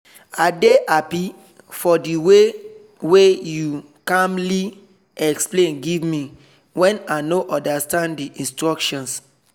i dey happy for the waywey you calmly explain give me when i no understand the instructions.